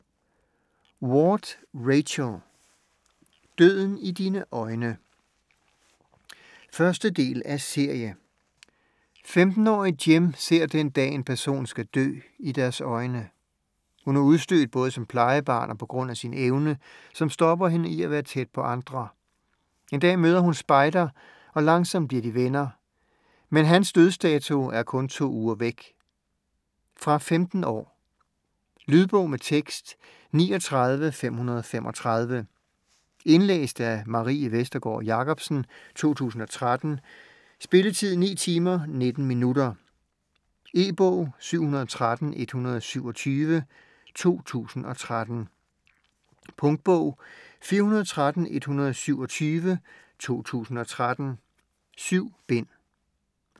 Ward, Rachel: Døden i dine øjne 1. del af serie. 15-årige Jem ser den dag, en person skal dø, i deres øjne. Hun er udstødt både som plejebarn og på grund af sin evne, som stopper hende i at være tæt på andre. En dag møder hun Spider, og langsomt bliver de venner. Men hans dødsdato er kun to uger væk. Fra 15 år. Lydbog med tekst 39535 Indlæst af Marie Vestergård Jacobsen, 2013. Spilletid: 9 timer, 19 minutter. E-bog 713127 2013. Punktbog 413127 2013. 7 bind.